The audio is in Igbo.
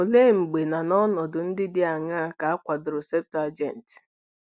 Olee mgbe na n'ọnọdụ ndị dị aṅaa ka a kwadoro Septụaginti?